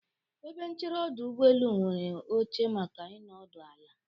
Ebe nchere ọdụ ụgbọelu nwere oche maka ịnọdụ ala.